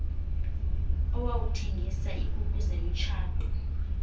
owawuthengisa ikuku zemitshato